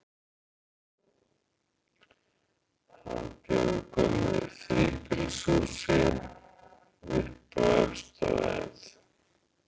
Hann bjó í gömlu þríbýlishúsi, uppi á efstu hæð.